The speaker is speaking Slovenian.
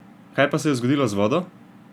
Kaj pa se je zgodilo z vodo?